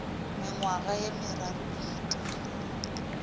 mengwaga ye meraro e fetile